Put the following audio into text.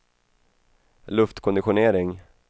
luftkonditionering